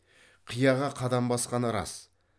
қияға қадам басқаны рас